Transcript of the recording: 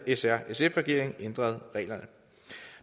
s r sf regeringen ændrede reglerne